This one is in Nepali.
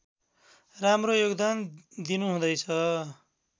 राम्रो योगदान दिनुहुँदैछ